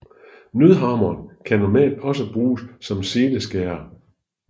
Nødhammeren kan normalt også bruges som seleskærer